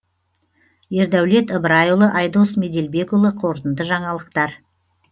ердәулет ыбырайұлы айдос меделбекұлы қорытынды жаңалықтар